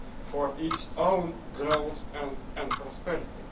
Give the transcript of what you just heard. for its own growth and prosperity.